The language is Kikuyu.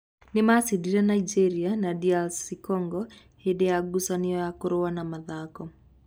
Nĩ maacindire Nigeria na DR Congo hĩndĩ ya ngucanio ya kũrũa na mathako.